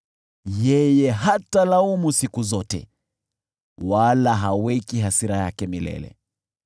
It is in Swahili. Yeye hatalaumu siku zote, wala haweki hasira yake milele,